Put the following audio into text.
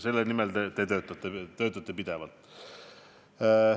Selle nimel te töötate, töötate pidevalt.